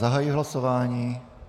Zahajuji hlasování.